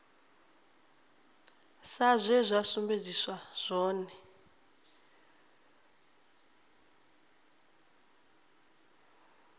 sa zwe zwa sumbedziswa zwone